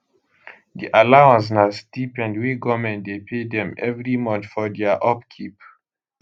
di allowance na stipend wey goment dey pay dem evri month for dia upkeep